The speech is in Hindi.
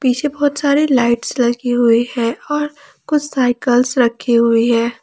पीछे बहोत सारे लाइट्स लगी हुई है और कुछ सायकल्स रखी हुई है।